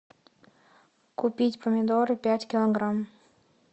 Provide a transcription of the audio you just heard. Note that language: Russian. купить помидоры пять килограмм